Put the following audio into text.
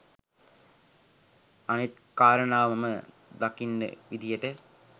අනිත් කාරණාව මම දකින විදියට